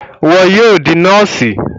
Iwọ yóò di nọọsi!